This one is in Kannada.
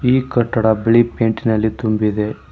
ಈ ಕಟ್ಟಡ ಬಿಳಿ ಪೈಂಟಿನಲ್ಲಿ ತುಂಬಿದೆ.